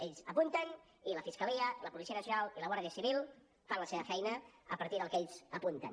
ells apunten i la fiscalia la policia nacional i la guàrdia civil fan la seva feina a partir del que ells apunten